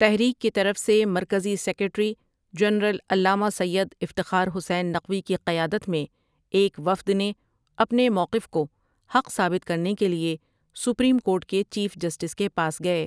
تحریک کی طرف سے مرکزی سیکریٹری جنرل علامہ سید افتخار حسین نقوی کی قیادت میں ایک وفد نے اپنے مؤقف کو حق ثابت کرنے کے لئے سپریم کورٹ کےچیف جسٹس کے پاس گئے